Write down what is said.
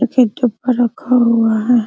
एक एक के ऊपर रखा हुआ है ।